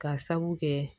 Ka sabu kɛ